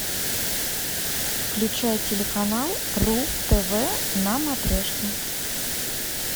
включай телеканал ру тв на матрешке